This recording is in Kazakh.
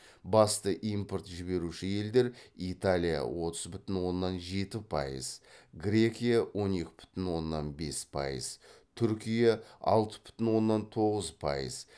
басты импорт жіберуші елдер италия отыз бүтін оннан жеті пайыз грекия он екі бүтін оннан бес пайыз түркия алты бүтін оннан тоғыз пайыз